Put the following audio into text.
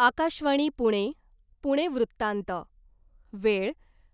आकाशवाणी पुणे, पुणे वृत्तांत, वेळ